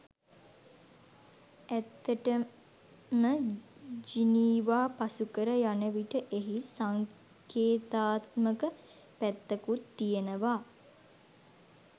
ඇත්තටම ජිනීවා පසු කර යන විට එහි සංකේතාත්මක පැත්තකුත් තියෙනවා.